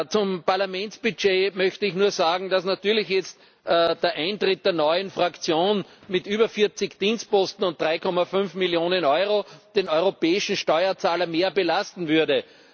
Zum Parlamentsbudget möchte ich nur sagen, dass natürlich jetzt der Eintritt der neuen Fraktion mit über 40 Dienstposten und 3,5 Millionen Euro den europäischen Steuerzahler mehr belasten würde.